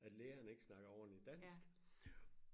at lægerne ikke snakker ordentligt dansk